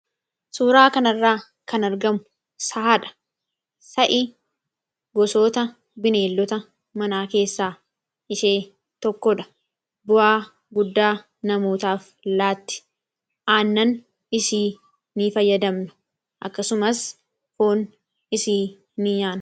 suuraa kanirraa kan argamu sahaadha sa'i gosoota bineellota manaa keessaa ishee tokkodha bu'aa guddaa namootaaf laatti aannan isii n fayyadamnu akkasumas foon isii n nyaane